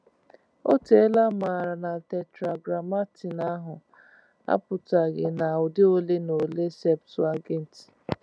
O teela a maara na Tetragrammaton ahụ apụtaghị na udi ole na ole Septuagint.